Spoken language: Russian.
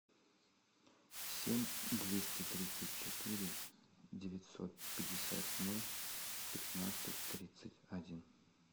семь двести тридцать четыре девятьсот пятьдесят ноль пятнадцать тридцать один